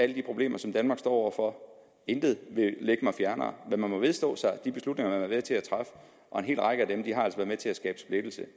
de problemer som danmark står over for intet vil ligge mig fjernere men man må vedstå sig de beslutninger været med til at træffe og en hel række af dem har altså været med til at skabe splittelse